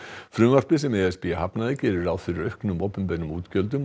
frumvarpið sem e s b hafnaði gerir ráð fyrir auknum opinberum útgjöldum og